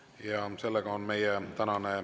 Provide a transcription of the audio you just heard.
Kohtume homme hommikul kell 10 Riigikogu täiskogu istungil.